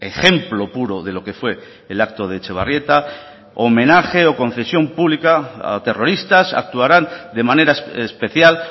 ejemplo puro de lo que fue el acto de etxebarrieta homenaje o concesión pública a terroristas actuarán de manera especial